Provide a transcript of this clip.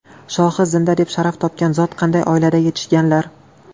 Shohi Zinda deb sharaf topgan zot qanday oilada yetishganlar?